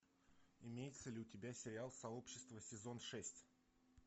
имеется ли у тебя сериал сообщество сезон шесть